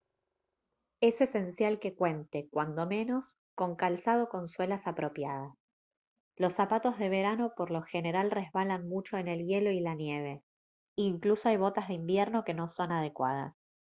es esencial que cuente cuando menos con calzado con suelas apropiadas los zapatos de verano por lo general resbalan mucho en el hielo y la nieve incluso hay botas de invierno que no son adecuadas